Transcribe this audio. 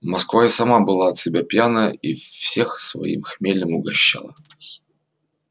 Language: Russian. москва и сама была от себя пьяная и всех своим хмелем угощала